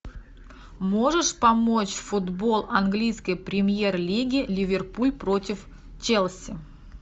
можешь помочь футбол английской премьер лиги ливерпуль против челси